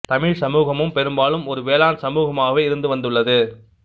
தமிழ்ச் சமூகம் பெரும்பாலும் ஒரு வேளாண் சமூகமாகவே இருந்து வந்துள்ளது